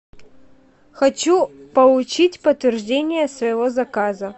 хочу получить подтверждение своего заказа